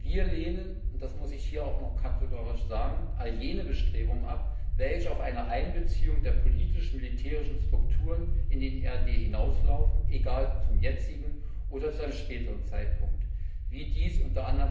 Wir lehnen und das muss ich hier unmißverständlich noch kategorisch sagen all jene Bestrebungen ab, welche auf eine Einbeziehung der politisch militärischen Strukturen in den EAD hinauslaufen, egal ob zum jetzigen oder zu einem späteren Zeitpunkt, wie dies u.